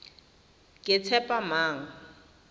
ketshepamang